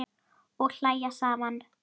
Og hlæja saman.